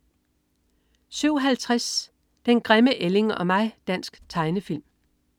07.50 Den grimme ælling og mig. Dansk tegnefilm